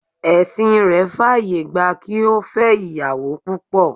Ẹ̀sìn rẹ̀ faye gba kí ó fẹ́ ìyàwó púpọ̀